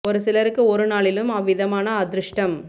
ஒரு சிலருக்கு ஒரு நாளிலும் அவ்விதமான அதிருஷடம்